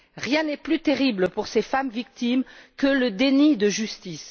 Rien n'est plus terrible pour ces femmes victimes que le déni de justice.